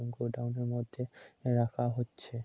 Godown -এর মধ্যে রাখা হচ্ছে।